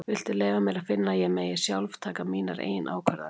Viltu leyfa mér að finna að ég megi sjálf taka mínar eigin ákvarðanir.